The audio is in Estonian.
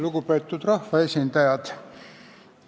Lugupeetud rahvaesindajad!